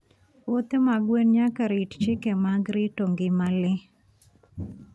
Puothe mag gwen nyaka rit chike mag rito ngima le.